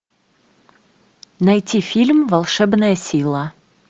найти фильм волшебная сила